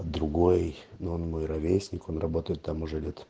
другой но он мой ровесник он работает там уже лет